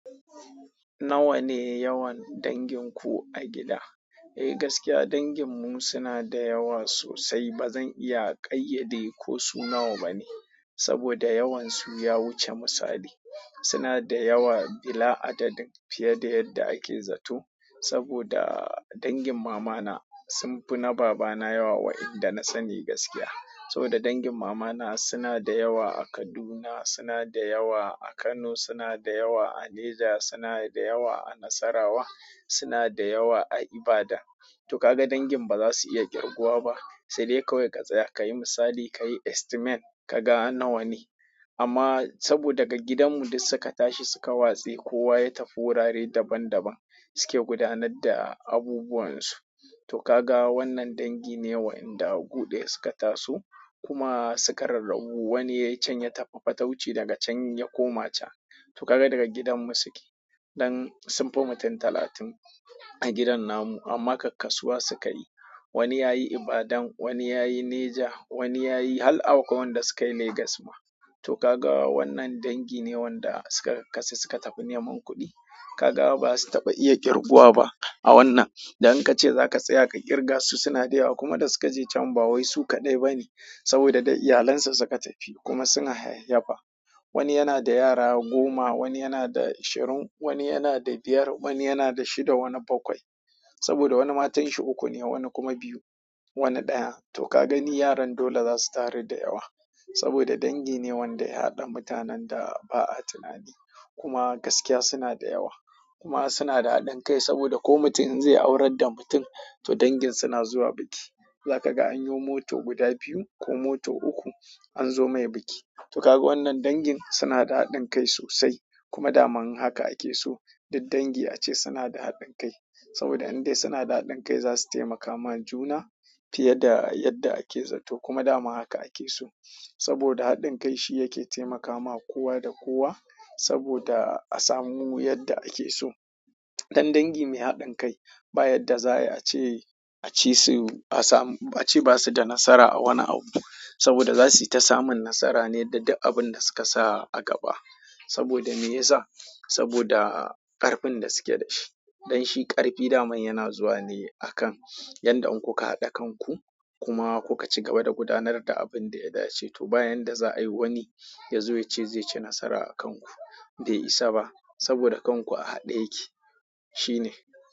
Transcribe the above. Nawa ne yawan danginku a gida? Eh gaskiya danginmu suna da yawa sosai. Ba zan iya ƙayyade ko su nawa bane saboda yawansu ya wuce misali. Suna da yawa bila adadin fiye da yadda ake zato saboda dangin mamana sun fi na babana yawa waƴanda na sani gaskiya. Saboda dangin mamana suna da yawa a Kaduna, suna da yawa a Kano, suna da yawa a Niger, suna da yawa a Nasarawa, suna da yawa a Ibadan. To kaga dangin baza su iya ƙirguwa ba sai dai kawai ka tsaya ka yi misali, ka yi estimate ka ga nawa ne. Amma saboda daga gidanmu duk suka tashi suka watse, kowa ya tafi wurare daban daban suke gudanar da abubuwan su. To ka ga wannan dangi ne waƴanda gu ɗaya suka taso kuma suka rarrabu. Wani ya can ya tafi fatauci daga can ya koma can. To ka ga daga gidan mu suke. Dan sunfi mutum talatin a gidan namu amma kak-kasuwa suka yi. Wani ya yi Ibadan, wani ya yi Niger, wani ya yi, har akwai wanda suka yi Lagos ma. To ka ga wannan dangi ne wanda suka ka-kakkasu suka tafi neman kuɗi. Ka ga ba su taɓa iya ƙirguwa ba a wannan. Dan ka ce za ka tsaya ka ƙirga su suna da yawa kuma da suka je can ba wai su kaɗai ba ne saboda da iyalansu suka tafi kuma suna hayayyafa. Wani yana da yara goma, wani yana da ashirin, wani yana da biyar, wani yana da shida wani bakwai. Saboda wani matanshi uku ne wani kuma biyu wani ɗaya. To ka gani yaran dole za su taru da yawa saboda dangi ne wanda ya haɗa mutanen da ba a tunani kuma gaskiya suna da yawa. Kuma suna da haɗin kai saboda ko mutum in zai aurar da mutum to dangin suna zuwa biki. Zaka ga an yo mota guda biyu ko mota uku an zo mai biki. To ka ga wannan dangin suna da haɗin kai sosai kuma daman haka ake so. Duk dangi ace suna da haɗin kai saboda in dai suna da haɗin kai za su taimaka ma juna fiye da yadda ake zato kuma dama haka ake so. Saboda haɗin kai shi yake taimakama kowa da kowa saboda a samu yadda ake so. Dan dangi mai haɗin kai ba yarda za a yi a ce, a ce su a samu, a ce ba su da nasara a wani abu saboda za su yi ta samun nasara ne da duk abun da suka sa a gaba. Saboda me ya sa? Saboda ƙarfin da suke da shi. Dan shi ƙarfi daman yana zuwa ne a kan yanda in kuka haɗa kanku kuma kuka ci gaba da gudanar da abun da ya dace. To ba yarda za a yi wani ya zo ya ce zai ci nasara a kanku. Bai isa ba saboda kanku a haɗe yake. Shi ne.